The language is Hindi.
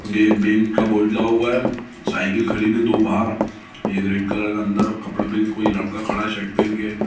ये एक बैंक का बोर्ड लगा हुआ है साइकिल खड़ी है दो बाहर एक रेड कलर का अंदर कपड़ा पहिन के कोई लड़का खड़ा है शर्ट पहिन के।